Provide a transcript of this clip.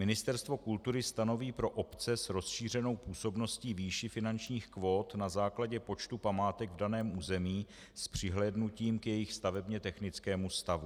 Ministerstvo kultury stanoví pro obce s rozšířenou působností výši finančních kvót na základě počtu památek v daném území s přihlédnutím k jejich stavebně technickému stavu.